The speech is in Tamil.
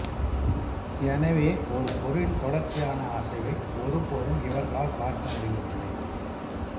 எனவே ஓரு பொருளின் தொடர்ச்சியான அசைவை ஒருபோதும் இவர்களால் பார்க்க முடிவதில்லை